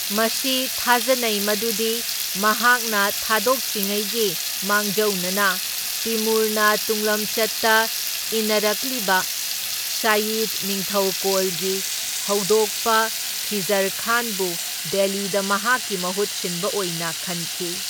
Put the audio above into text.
ꯃꯁꯤ ꯊꯥꯖꯅꯩ ꯃꯗꯨꯗꯤ ꯃꯍꯥꯛꯅ ꯊꯥꯗꯣꯛꯇ꯭ꯔꯤꯉꯩꯒꯤ ꯃꯥꯡꯖꯧꯅꯅ ꯇꯤꯃꯨꯔꯅ ꯇꯨꯡꯂꯝꯆꯠꯇ ꯏꯅꯔꯛꯂꯤꯕ ꯁꯥꯌꯤꯗ ꯅꯤꯡꯊꯧꯀꯣꯜꯒꯤ ꯍꯧꯗꯣꯛꯄ ꯈꯤꯖꯔ ꯈꯥꯟꯕꯨ ꯗꯦꯜꯂꯤꯗ ꯃꯍꯥꯛꯀꯤ ꯃꯍꯨꯠꯁꯤꯟꯕ ꯑꯣꯏꯅ ꯈꯟꯈꯤ꯫